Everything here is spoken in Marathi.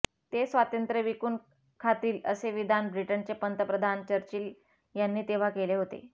ते स्वातंत्र्य विकून खातील असे विधान ब्रिटनचे पंतप्रधान चर्चिल यांनी तेव्हा केले होते